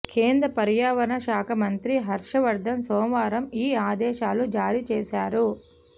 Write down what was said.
కేంద్ర పర్యావరణ శాఖ మంత్రి హర్షవర్దన్ సోమవారం ఈ ఆదేశాలు జారీ చేశారు